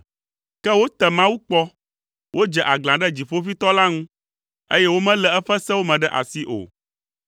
Ke wote Mawu kpɔ, wodze aglã ɖe Dziƒoʋĩtɔ la ŋu, eye womelé eƒe sewo me ɖe asi o.